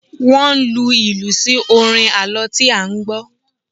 Wọ́n lu ìlù sí orin àlọ́ tí a gbọ́.